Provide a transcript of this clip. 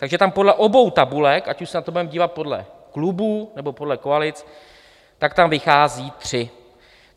Takže tam podle obou tabulek, ať už se na to budeme dívat podle klubů, nebo podle koalic, tak tam vychází tři.